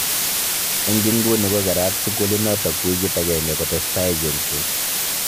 Eng inguni ko kerat sukulinotok wikit agenge kotestai chengset.